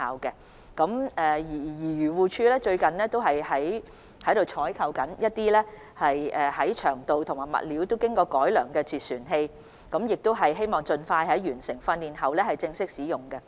漁護署最近正採購長度和物料均經過改良的截船器，希望完成執法人員訓練後盡快正式使用。